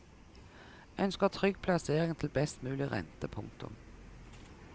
Ønsker trygg plassering til best mulig rente. punktum